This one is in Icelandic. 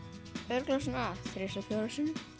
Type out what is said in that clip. örugglega svona þrisvar fjórum sinnum